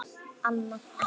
Annað ekki.